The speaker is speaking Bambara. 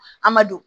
An ma don